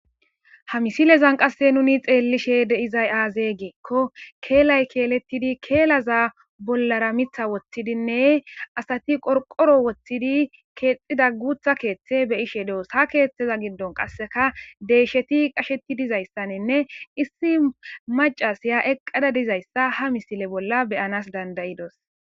ha misilezan qasse nuni xeellishe deizay aazee geekko keelay keelettidi keelaza bollara mitha woththidinne asati qorqoro woththidi keexxida guutha keeththe beyishe doos ha keeththeza giddon qasseka deyisheti qasheti dizayssaninne issi macasiya eqqada dizayssa ha misile bolla beyanas dandayidos